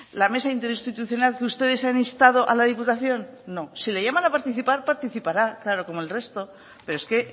la mesa interinstitucional que ustedes han instado a la diputación no si le llaman a participar participará claro como el resto pero es que